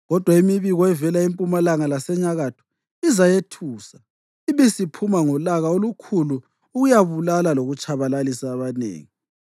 Kodwa imibiko evela empumalanga lasenyakatho izayethusa ibisiphuma ngolaka olukhulu ukuyabulala lokutshabalalisa abanengi.